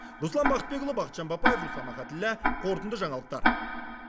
руслан бақытбекұлы бақытжан бапаев руслан ахаліллә қорытынды жаңалықтар